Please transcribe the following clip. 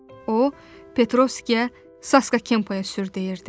O Petrovskiyə Sasqa Kempəyə sür deyirdi.